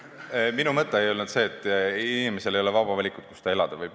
Minu mõte ei olnud see, et inimesel ei ole vaba valikut, kus ta elada võib.